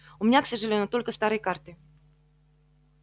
у меня к сожалению только старые карты